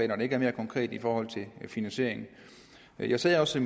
når det ikke er mere konkret i forhold til finansieringen jeg sagde også